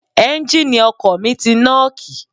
Ẹ́ńgìnì ọkọ̀ mi ti nọ́ọ̀kì.